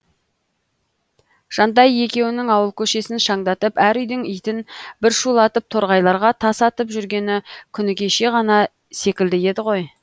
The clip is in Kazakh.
жантай екеуінің ауыл көшесін шаңдатып әр үйдің итін бір шулатып торғайларға тас атып жүргені күні кеше ғана секілді еді ғой